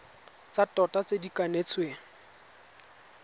tsa tota tse di kanetsweng